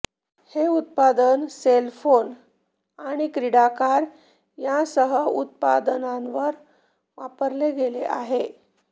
हे उत्पादन cell phone आणि क्रीडा कार यांसह उत्पादनांवर वापरले गेले आहे